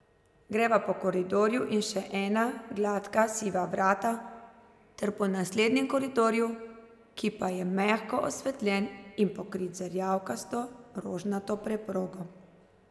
Greva po koridorju in še skozi ena gladka siva vrata ter po naslednjem koridorju, ki pa je mehko osvetljen in pokrit z rjavkasto rožnato preprogo.